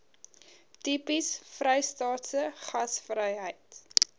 tipies vrystaatse gasvryheid